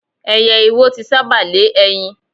Ẹyẹ iwo ti sába lé ẹyin.